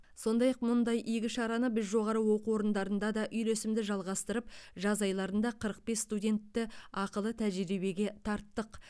сондай ақ мұндай игі шараны біз жоғары оқу орындарында да үйлесімді жалғастырып жаз айларында қырық бес студентті ақылы тәжірибеге тарттық